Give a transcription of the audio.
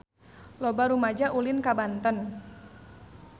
Loba rumaja ulin ka Banten